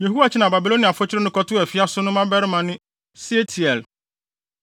Yehoiakyin a Babiloniafo kyeree no kɔtoo afiase no mmabarima ne Sealtiel,